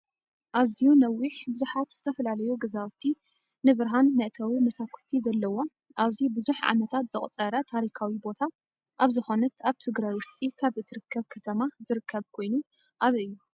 ኣዝዩ ነዊሕ ብዙሓት ዝተፈላለዩ ገዛውቲ ንብርሃን መእተው መሳኩቲ ዘለዎን ኣዝዩ ብዙሕ ዓመታት ዘቁፀረ ታሪካዊ ቦታ ኣብ ዝኮነት ኣብ ትግራይ ውሽጢ ካብ እትርከብ ከተማ ዝርከብ ኮይኑ ኣበይ እዩ?